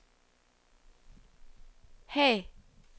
Haag